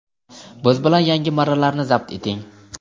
Biz bilan yangi marralarni zabt eting!.